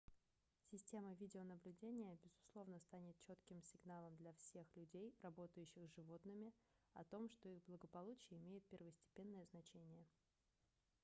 система видеонаблюдения безусловно станет четким сигналом для всех людей работающих с животными о том что их благополучие имеет первостепенное значение